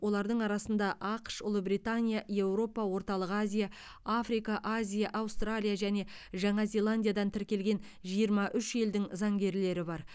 олардың арасында ақш ұлыбритания еуропа орталық азия африка азия аустралия және жаңа зеландиядан тіркелген жиырма үш елдің заңгерлері бар